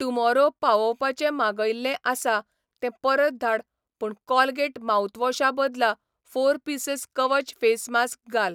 Tomorrow पावोवपाचें मागयिल्लें आसा तें परत धाड पूण कोलगेट माउथवॉशा बदला फोर पीसीस कवच फेस मास्क घाल.